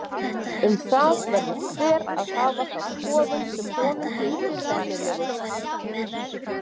Um það verður hver að hafa þá skoðun sem honum þykir sennilegust.